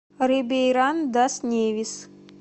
рибейран дас невис